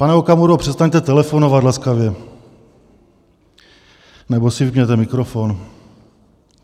Pane Okamuro, přestaňte telefonovat laskavě, nebo si vypněte mikrofon!